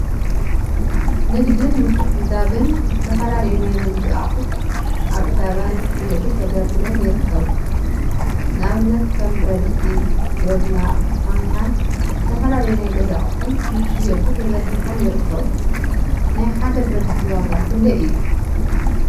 ንግዲን ምትዕድዳግን ዝተፈላለዩ ናይ ንግዲ አቁሑት አብ ዕዳጋ ንክሽየጡ ተደርዲሮም ይርከቡ፡፡ ንአብነት ከም ብረድስቲ፣ ዶላ፣ ማንካን ዝተፈላዩ ናይ ገዛ አቁሑን ንክሽየጡ ተዘርጊሖም ይርከቡ፡፡ ናይ ሓደ ብረድስቲ ዋጋ ክንደይ እዩ?